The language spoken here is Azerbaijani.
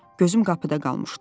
Gözüm qapıda qalmışdı.